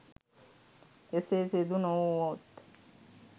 එසේ සිදු නොවූවොත්